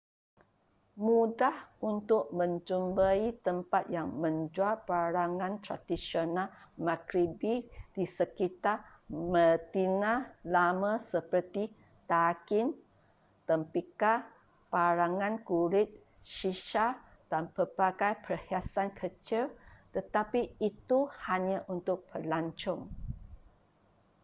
mudah untuk menjumpai tempat yang menjual barangan tradisional maghribi di sekitar medina lama seperti tagin tembikar barangan kulit shisha dan pelbagai perhiasan kecil tetapi itu hanya untuk pelancong